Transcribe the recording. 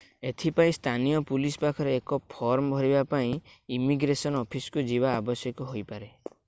ଏଥିପାଇଁ ସ୍ଥାନୀୟ ପୁଲିସ ପାଖରେ ଏକ ଫର୍ମ ଭରିବା କିମ୍ବା ଇମିଗ୍ରେସନ୍ ଅଫିସକୁ ଯିବା ଆବଶ୍ୟକ ହୋଇପାରେ